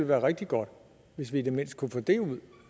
være rigtig godt hvis vi i det mindste kunne få det ud